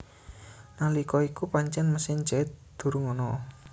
Nalika iku pancen mesin jait durung ana